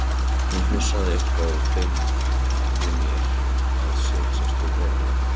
Hún hnussaði eitthvað og benti mér að setjast við borðið.